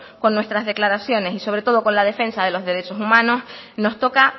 con nuestras declaraciones y sobre todo con la defensa de los derechos humanos nos toca